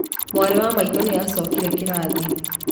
Mwarĩ wa maitũ nĩ acokerire kĩrathi.